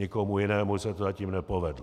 Nikomu jinému se to zatím nepovedlo.